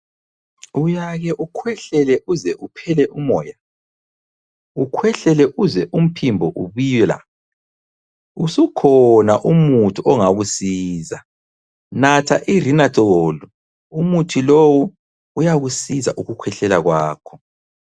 Uyake ukhwehlele uze uphele umoya? Ukhwehlele uzwe umphimbo ubila? Usukhona umuthi ongakusiza, natha i Renathol. Umuthi lowu uyakusiza ukukhwehlela kwakho.